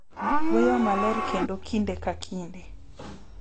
Wuoyo maler kendo kinde ka kinde,